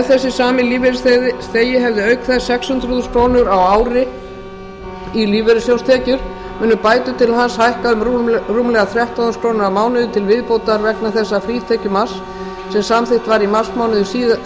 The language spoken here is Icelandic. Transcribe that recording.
ef þessi sami lífeyrisþegi hefði auk þess sex hundruð þúsund krónur á ári í lífeyrissjóðstekjur munu bætur til hans hækka um rúmlega þrettán þúsund krónur á mánuði til viðbótar vegna þess frítekjumarks sem samþykkt var í marsmánuði